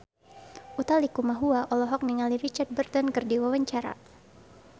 Utha Likumahua olohok ningali Richard Burton keur diwawancara